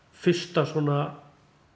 fyrsta svona